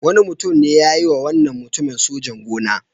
Wani mutum ne ya yiwa wannan mutumin sojan-gona.